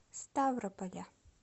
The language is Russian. ставрополя